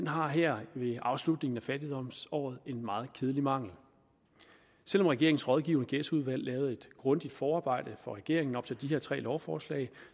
har her ved afslutningen af fattigdomsåret en meget kedelig mangel selv om regeringens rådgivende ghettoudvalg lavede et grundigt forarbejde for regeringen op til de her tre lovforslag